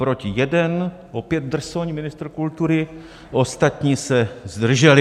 Proti 1, opět drsoň ministr kultury, ostatní se zdrželi.